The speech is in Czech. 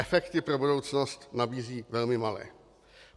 Efekty pro budoucnost nabízí velmi malé.